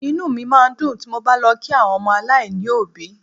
inú máa ń dùn ti mo bá lọ kí àwọn ọmọ aláìní òbí